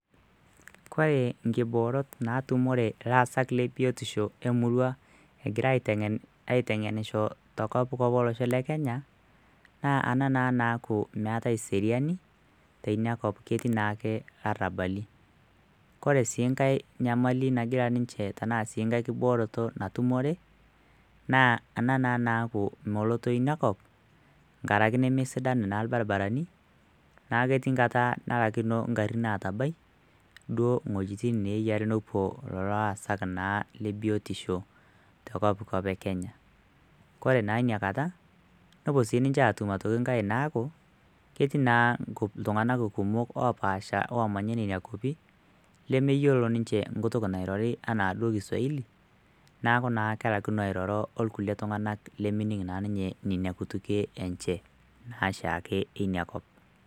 Kore inkiboorot etumore illaasak le biotisho emurrua egira aiteng`enisho te Kopkop tolosho le kenya naa ana naaku meatai seriani te inia kop ketii naake ill'arabali, kore sii inkae inyamali nagira ninche tanaa sii ekae kibooroto natumore naa ena naa naaku melotoi inakop ngaraki nemesidain naa irbaribarani, naa ketii inkata nalakino ing'arrin aatabai duo wejiti neeyari nepo lelo illasak naa le biotisho te kopkop ekenya, kore naa inakata nepo sii niche aatum aitoki enkae naaku ketii naa ltungana kumok opaasha oomanya nenia kwapi lemeyelo ninche nkutuk nairori anaado kiswahili naaku naa kelakino airoro olkule tunanganak lemening' naa ninye nenia kutukie enche naa shaake einakop.